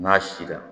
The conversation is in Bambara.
N'a si la